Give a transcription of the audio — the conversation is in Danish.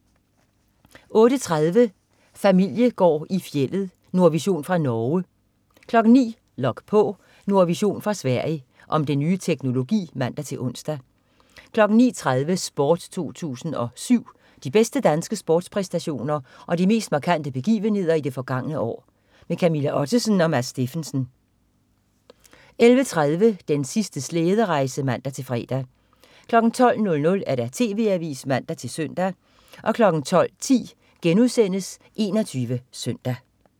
08.30 Familiegård i fjeldet. Nordvision fra Norge 09.00 Log på. Nordvision fra Sverige. Om den nye teknologi (man-ons) 09.30 Sport 2007. De bedste danske sportspræstationer og de mest markante begivenheder i det forgangne år. Camilla Ottesen og Mads Steffensen 11.30 Den sidste slæderejse (man-fre) 12.00 TV AVISEN (man-søn) 12.10 21 SØNDAG*